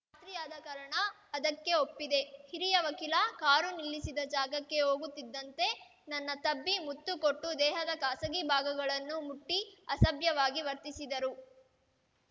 ರಾತ್ರಿಯಾದ ಕಾರಣ ಅದಕ್ಕೆ ಒಪ್ಪಿದೆ ಹಿರಿಯ ವಕೀಲ ಕಾರು ನಿಲ್ಲಿಸಿದ ಜಾಗಕ್ಕೆ ಹೋಗುತ್ತಿದ್ದಂತೆ ನನ್ನ ತಬ್ಬಿ ಮುತ್ತು ಕೊಟ್ಟು ದೇಹದ ಖಾಸಗಿ ಭಾಗಗಳನ್ನು ಮುಟ್ಟಿಅಸಭ್ಯವಾಗಿ ವರ್ತಿಸಿದರು